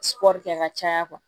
kɛ ka caya